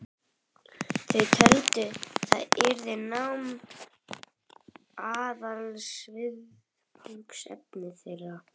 Þau töldu að þar yrði nám aðalviðfangsefni þeirra.